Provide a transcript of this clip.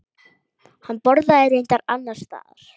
Hann borðaði reyndar annars staðar.